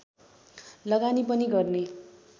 लगानी पनि गर्ने